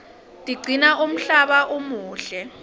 tiqcina umhlaba umuhle